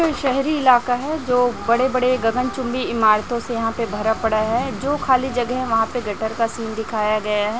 यह शहरी इलाका है जो बड़े-बड़े गगनचुंबी ईमारतों से यहाँ पे भरा पड़ा है जो खाली जगह है वहाँ पे गटर का सीन दिखाया गया है।